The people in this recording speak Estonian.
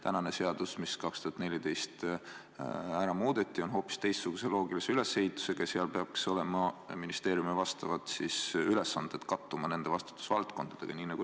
Praegune seadus, nagu see 2014. aastal ära muudeti, on hoopis teistsuguse loogilise ülesehitusega ja selle järgi peaks ministeeriumi ülesanded kattuma nende vastutusvaldkondadega.